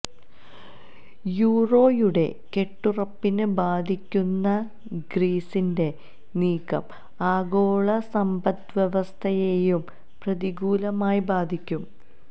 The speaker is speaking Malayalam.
യൂറോയുടെ കെട്ടുറുപ്പിനെ ബാധിക്കുന്ന ഗ്രീസിന്റെ നീക്കം ആഗോള സമ്പദ്വ്യവസ്ഥയെയും പ്രതികൂലമായി ബാധിക്കും